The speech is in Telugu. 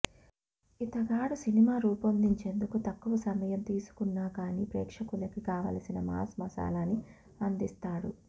ఇతగాడు సినిమా రూపొందించేందుకు తక్కువ సమయం తీసుకున్నా కానీ ప్రేక్షకులకి కావలసిన మాస్ మసాలాని అందిస్తాడు